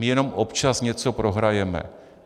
My jenom občas něco prohrajeme.